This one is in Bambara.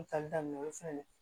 Tali daminɛ o fɛnɛ